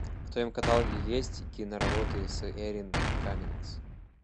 в твоем каталоге есть киноработы с эрин каммингс